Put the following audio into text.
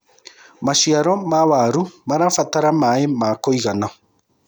maciaro ma waru marabatara maĩ ma kũigana